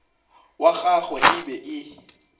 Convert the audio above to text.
wa gagwe e be e